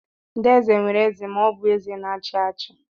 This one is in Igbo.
Ndị eze nwere eze ma ọ bụ eze na-achị achị.